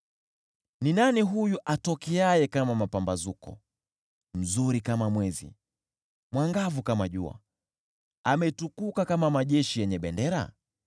Ni nani huyu atokeaye kama mapambazuko, mzuri kama mwezi, mwangavu kama jua, ametukuka kama nyota zifuatanazo?